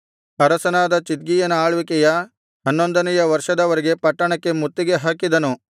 ಅರಸನಾದ ಚಿದ್ಕೀಯನ ಆಳ್ವಿಕೆಯ ಹನ್ನೊಂದನೆಯ ವರ್ಷದವರೆಗೆ ಪಟ್ಟಣಕ್ಕೆ ಮುತ್ತಿಗೆ ಹಾಕಿದನು